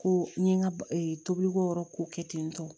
Ko n ye n ka tobiliko yɔrɔ ko kɛ ten tɔ